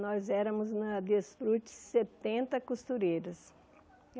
Nós éramos, na Desfrutes, setenta costureiras.